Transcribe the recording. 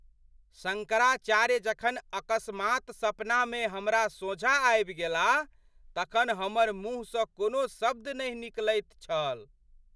शङ्कराचार्य जखन अकस्मात् सपनामे हमरा सोझाँ आबि गेलाह तखन हमर मुहसँ कोनो शब्द नहि निकलैत छल।